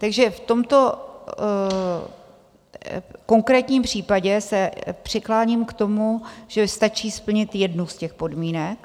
Takže v tomto konkrétním případě se přikláním k tomu, že stačí splnit jednu z těch podmínek.